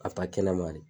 A fa kɛnɛma de